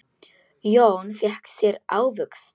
Jón fékk sér ávöxt.